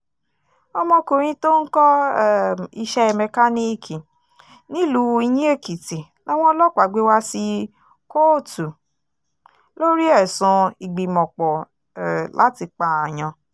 ọmọkùnrin tó ń kọ́ um iṣẹ́ mẹkáníìkì nílùú iyín-èkìtì làwọn ọlọ́pàá gbé wá sí kóòtù lórí ẹ̀sùn ìgbìmọ̀-pọ̀ um láti pààyàn